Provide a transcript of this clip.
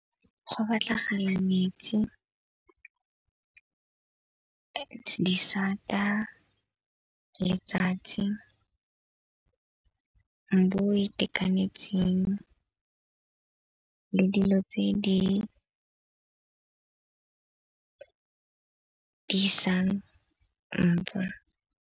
Go batlagala metsi, disata, letsatsi mbu o itekanetseng le dilo tse di di sang .